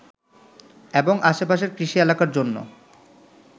এবং আশেপাশের কৃষি এলাকার জন্য